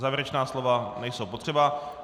Závěrečná slova nejsou potřeba.